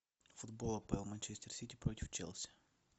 футбол апл манчестер сити против челси